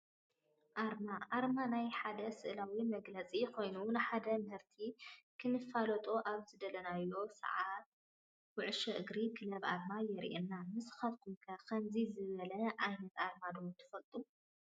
ኣርማ፡- ኣርማ ናይ ሓደ ስእላዊ መግለፂ ኮይኑ ንሓደ ምህርቲ ክነፋልጦ ኣብ ዝደለናዮ ሰዓት ኩ/እግሪ ክለብ ኣርማ የሪኤና፡፡ ንስኻትኩም ከ ከምዚ ዝበለ ዓይነት ኣርማ ዶ ትፈልጡ??